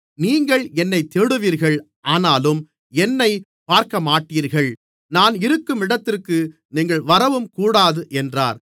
நீங்கள் என்னைத் தேடுவீர்கள் ஆனாலும் என்னைப் பார்க்கமாட்டீர்கள் நான் இருக்கும் இடத்திற்கு நீங்கள் வரவும் கூடாது என்றார்